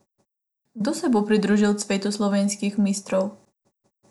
Kdo se bo pridružil cvetu slovenskih mistrov?